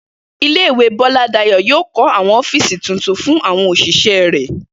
Ilé-ìwé Bó̩ládàyó̩ yóò kó̩ àwo̩n ó̩fíìsì tuntun fún àwo̩n òs̩ìs̩é̩ rè̩